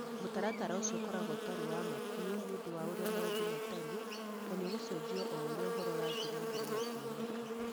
Mũtaratara ũcio ũkoragwo ũtarĩ wa ma biũ nĩ ũndũ wa ũrĩa maũndũ matariĩ na nĩ ũgũcenjio o ũrĩa ũhoro ũrathie na mbere na kuoneka.